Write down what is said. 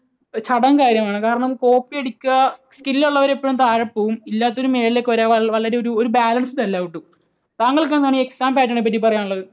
ചടങ്ങ് കാര്യം ആണ്. കാരണം copy അടിക്കുക, skill ഉള്ളവർ എപ്പോഴും താഴെ പോകും, ഇല്ലാത്തവർ മുകളിലേക്ക് വരും ഒരു balanced അല്ല ഒട്ടും. താങ്കൾക്ക് എന്താണ് exam pattern നെപ്പറ്റി പറയാനുള്ളത്?